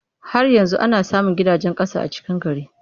Har yanzu ana samun gidajen ƙasa a cikin gari.